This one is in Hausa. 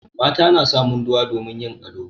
Mata na sa munduwa domin yin ado.